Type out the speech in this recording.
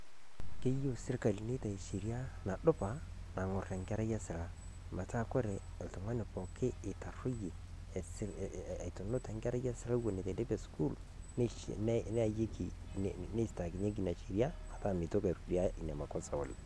Keyeu sirikali neitai sheriaa nadupaa naing'orr enkerai esilaa. Peeta kore ltung'ani eitaroyie etunuut enkerrai esila wuen atediip esukuul neayeki neisitaari enia esheria metaa meitoki airudia enia [s] makosa.